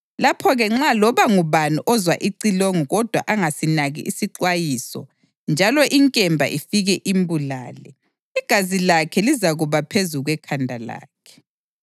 lapho-ke nxa loba ngubani ozwa icilongo kodwa angasinaki isixwayiso njalo inkemba ifike imbulale, igazi lakhe lizakuba phezu kwekhanda lakhe.